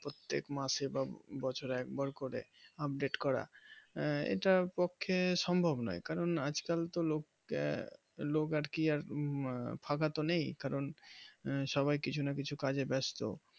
প্রত্যেক মাসে বা বছরে একবার করে আপডেট করা এটার পক্ষে সম্ভব নয় কারণ আজকাল তো লোক আর কি ফাঁকা তো নেই কারণ সবাই কিছু না কিছু কাজে ব্যস্ত